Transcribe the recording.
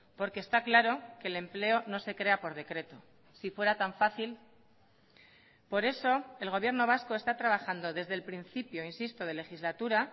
porque está claro que el empleo no se crea por decreto si fuera tan fácil por eso el gobierno vasco está trabajando desde el principio insisto de legislatura